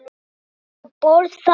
Komdu nú að borða